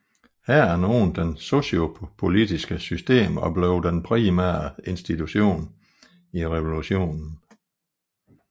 Hæren åbnede det sociopolitiske system og blev den primære institution i revolutionen